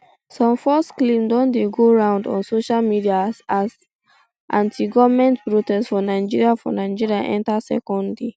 some false claims don dey go round on social media as antigoment protest for nigeria for nigeria enta second day